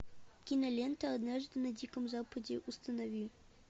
кинолента однажды на диком западе установи